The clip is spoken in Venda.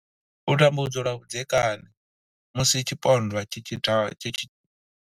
U tambudzwa lwa vhudzekani, Musi tshipondwa tshi tshi.